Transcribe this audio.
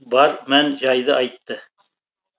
бар мән жайды айтты